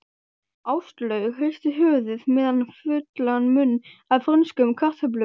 Áslaug hristi höfuðið með fullan munn af frönskum kartöflum.